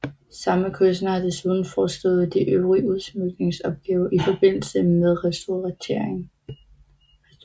Samme kunstner har desuden forestået de øvrige udsmykningsopgaver i forbindelse med restaureringen